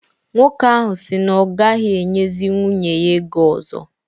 Nwoke ahụ si na ọ gaghị enyezi nwunye ya ego ọzọ